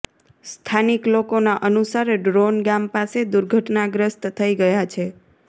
સ્થાનીક લોકોના અનુસાર ડ્રોન ગામ પાસે દુર્ઘટનાગ્રસ્ત થઈ ગયા છે